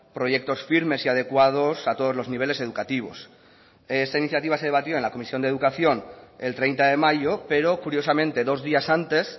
proyectos firmes y adecuados a todos los niveles educativos esta iniciativa se debatió en la comisión de educación el treinta de mayo pero curiosamente dos días antes